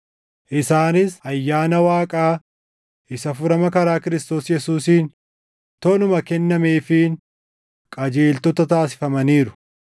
isaanis ayyaana Waaqaa isa furama karaa Kiristoos Yesuusiin toluma kennameefiin qajeeltota taasifamaniiru.